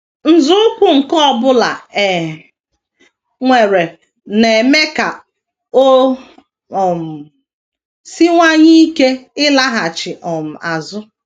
Nzọụkwụ nke ọ bụla e weere na - eme ka o um siwanye ike ịlaghachi um azụ.